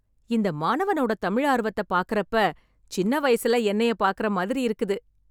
இந்த மாணவனோட தமிழ் ஆர்வத்த பாக்கறப்ப சின்ன வயசுல என்னய பாக்கிற மாதிரி இருக்குது.